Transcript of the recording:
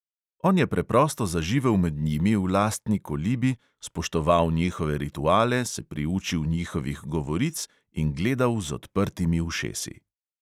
On je preprosto zaživel med njimi v lastni kolibi, spoštoval njihove rituale, se priučil njihovih govoric in gledal z odprtimi ušesi.